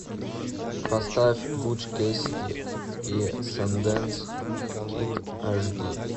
поставь буч кэссиди и сандэнс кид аш ди